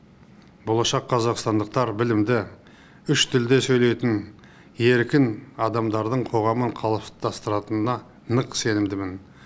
болашақ қазақстандықтар білімді үш тілде сөйлейтін еркін адамдардың қоғамын қалыптастыратынына нық сенімдімін